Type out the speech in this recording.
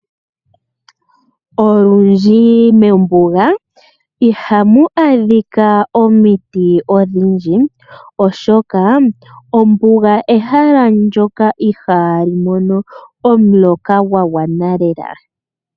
Olundji mombuga ihamu adhika omiti odhindji. Oshoka ombuga ehala lyoka ihaali mono omvula ya gwana lela.